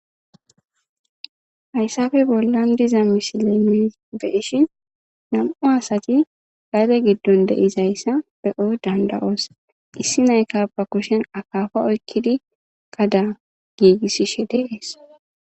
Hayssappe bollan diza missile be'ishshin Nam'u asati gadde giddon de'izayssa be'o danda'is issinayikka ba kushshen akkappa oykkidi gada gigisishshe de'esse.